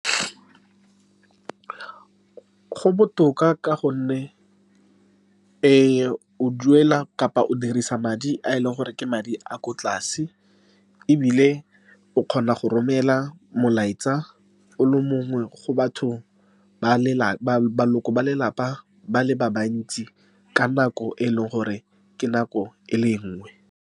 Go botoka, ka gonne o duela, kapa o dirisa madi a e leng gore ke madi a a kwa tlase, ebile o kgona go romela molaetsa o le mongwe go batho ba lelapa, ba le ba bantsi, ka nako e e leng gore ke nako e le nngwe.